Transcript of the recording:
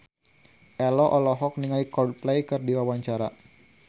Ello olohok ningali Coldplay keur diwawancara